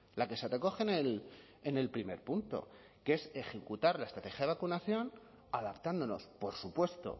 la que se recogen en el primer punto que es ejecutar la estrategia de vacunación adaptándonos por supuesto